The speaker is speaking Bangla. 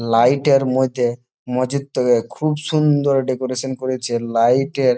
লাইট -এর মধ্যে মজুত থাকে খুব সুন্দর ডেকোরেশন করেছে লাইট -এর।